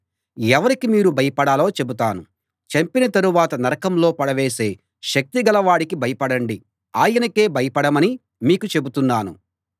ఎవరికి మీరు భయపడాలో చెబుతాను చంపిన తరువాత నరకంలో పడవేసే శక్తి గల వాడికి భయపడండి ఆయనకే భయపడమని మీకు చెబుతున్నాను